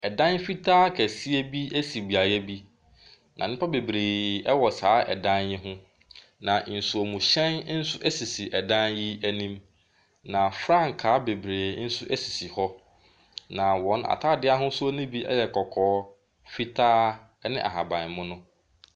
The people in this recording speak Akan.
Ɛdan fitaa kɛseɛ bi si beaeɛ bi. Na nnipa bebree wɔ saa dan yi ho. Na nsuomhyɛn nso sisi dan yi anim. Na frankaa bebree nso sisi hɔ. Na wɔn atadeɛ ahosuo no bi yɛ kɔkɔɔ, fitaa ne ahabammono.